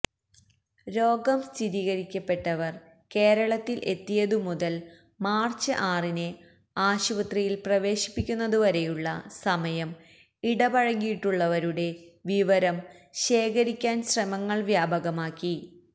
രോഗം സ്ഥിരീകരിക്കപ്പെട്ടവർ കേരളത്തിൽ എത്തിയതുമുതൽ മാർച്ച് ആറിന് ആശുപത്രിയിൽ പ്രവേശിപ്പിക്കുന്നതുവരെയുള്ള സമയം ഇടപഴകിയിട്ടുള്ളവരുടെ വിവരം ശേഖരിക്കാൻ ശ്രമങ്ങൾ വ്യാപകമാക്കി